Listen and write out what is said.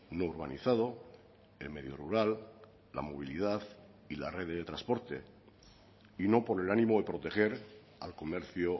no urbanizado el medio rural la movilidad y la red de transporte y no por el ánimo de proteger al comercio